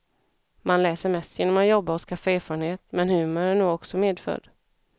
Man lär sig mest genom att jobba och skaffa erfarenhet, men humor är nog också medfödd.